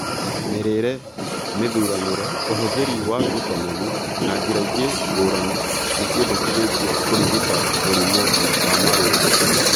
Mĩrĩre mĩthuranĩre, ũhũthĩri wa vitameni, na njĩra ingĩ ngũrani nĩciendekithĩtio kũrigita mũrimũ wa marũngo